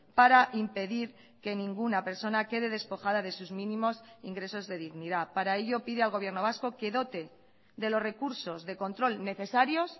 para impedir que ninguna persona que de despojada de sus mínimos ingresos de dignidad para ello pide al gobierno vasco que dote de los recursos de control necesarios